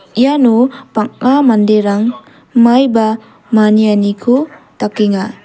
iano bang·a manderang maiba manianiko dakenga.